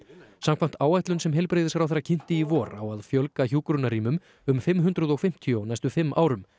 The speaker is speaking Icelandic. samkvæmt áætlun sem heilbrigðisráðherra kynnti í vor á að fjölga hjúkrunarrýmum um fimm hundruð og fimmtíu á næstu fimm árum